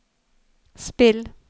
spill